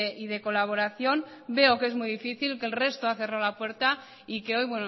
y de colaboración veo que es muy difícil que el resto ha cerrado la puerta y que hoy